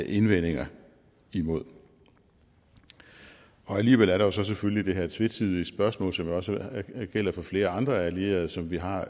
indvendinger imod og alligevel er der så selvfølgelig det her tvetydige spørgsmål som jo også gælder for flere andre allierede som vi har